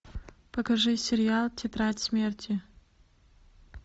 покажи сериал тетрадь смерти